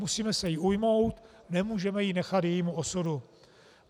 Musíme se jí ujmout, nemůžeme ji nechat jejímu osudu.